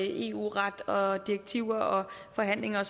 eu ret direktiver forhandlinger